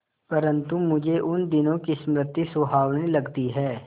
परंतु मुझे उन दिनों की स्मृति सुहावनी लगती है